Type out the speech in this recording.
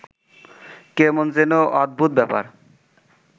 কেমন যেন অদ্ভুত ব্যাপার